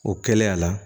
O kɛla a la